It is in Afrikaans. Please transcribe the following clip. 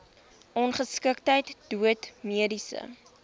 ongeskiktheid dood mediese